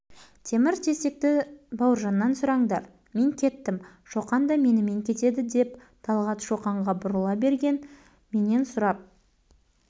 темір-терсекті бауыржаннан сұраңдар мен кеттім шоқан да менімен кетеді деп талғат шоқанға бұрыла берген менен сұрап